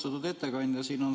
Austatud ettekandja!